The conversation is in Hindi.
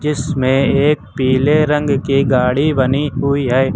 इसमें एक पीले रंग की गाड़ी बनी हुई है।